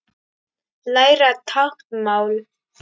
Læra táknmál